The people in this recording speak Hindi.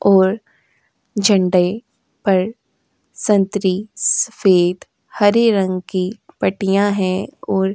और झंडे पर संतरी सफेद हरे रंग की पट्टियाँ हैं और --